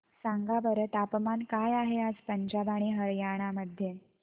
सांगा बरं तापमान काय आहे आज पंजाब आणि हरयाणा मध्ये